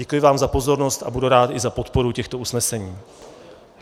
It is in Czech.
Děkuji vám za pozornost a budu rád i za podporu těchto usnesení.